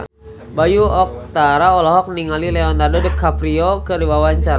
Bayu Octara olohok ningali Leonardo DiCaprio keur diwawancara